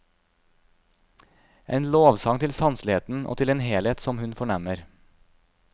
En lovsang til sanseligheten og til en helhet, som hun fornemmer.